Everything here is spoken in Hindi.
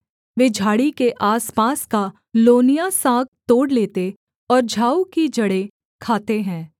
वे झाड़ी के आसपास का लोनिया साग तोड़ लेते और झाऊ की जड़ें खाते हैं